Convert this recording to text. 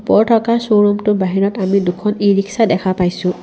ওপৰত থকা শ্ব'ৰুমটোৰ বাহিৰত আমি দুখন ই-ৰিক্সা দেখা পাইছোঁ।